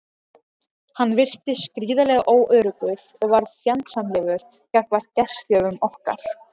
Hann virtist gríðarlega óöruggur og varð fjandsamlegur gagnvart gestgjöfum okkar.